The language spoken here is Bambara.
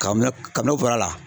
Kame kami n'o fɔr'a la